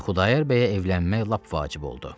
Və Xudayar bəyə evlənmək lap vacib oldu.